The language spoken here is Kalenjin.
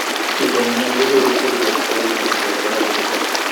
Chito nemyoni konyoru kerichot netore ng'wonindo nebo kasit nitok